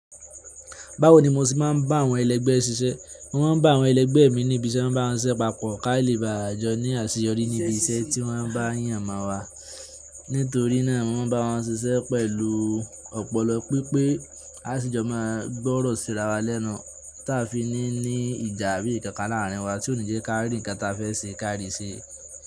Báwo ni mo ṣe máa ń bá àwọn ẹlẹ́gbẹ̀ ṣiṣẹ́? Mo máa ń bá àwọn ẹlẹ́gbẹ̀ mi níbi tí wọ́n máa ń bá wọn ṣẹ́ papọ̀ káì lè ba à jọ ní àṣeyọrí níbi iṣẹ́ tí wọ́n bá yàn mọ́ wa. Nítorí náà mo máa bá wọn ṣiṣẹ́ pẹ̀lú ọ̀pọ̀lọpọ̀ pípé aṣèjọ máa gbọ́rọ̀ síra wa lẹ́nu táa fi ní ní ìjà àbí ìkànkàn láàrin wa tí ó ní jẹ́ ká rí ǹkan ta fẹ́ ṣe ká rí i ṣe.